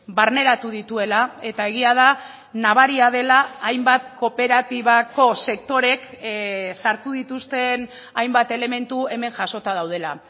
barneratu dituela eta egia da nabaria dela hainbat kooperatibako sektoreek sartu dituzten hainbat elementu hemen jasota daudela